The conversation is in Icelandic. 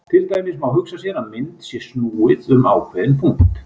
Til dæmis má hugsa sér að mynd sé snúið um ákveðinn punkt.